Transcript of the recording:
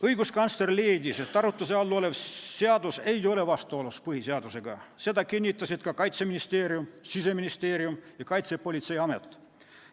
Õiguskantsler leidis, et arutluse all olev seadus ei ole vastuolus põhiseadusega, seda kinnitasid ka Kaitseministeerium, Siseministeerium ja Kaitsepolitseiamet.